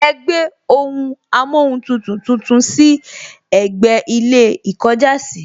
Ẹ gbé ohun amóhuntutù tuntun sí ẹ̀gbẹ́ ilé ìkọjásìí